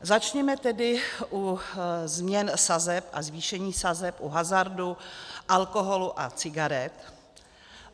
Začněme tedy u změn sazeb a zvýšení sazeb u hazardu, alkoholu a cigaret.